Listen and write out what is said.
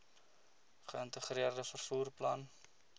geïntegreerde vervoer plan